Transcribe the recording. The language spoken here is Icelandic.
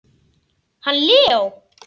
Hann Leó?